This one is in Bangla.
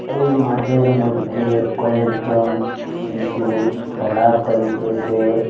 এই মাঠের মইধ্যে কয়েকজন শিশু খেলা করিতেসে।